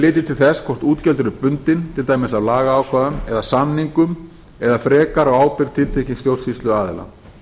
litið til þess hvort útgjöld eru bundin til dæmis af lagaákvæðum eða samningum eða frekar á ábyrgð tiltekins stjórnsýsluaðila